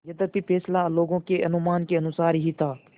यद्यपि फैसला लोगों के अनुमान के अनुसार ही था